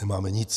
Nemáme nic.